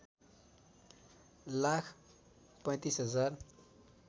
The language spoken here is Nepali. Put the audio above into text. लाख ३५ हजार